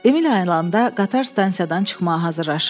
Emil ayılanda qatar stansiyadan çıxmağa hazırlaşırdı.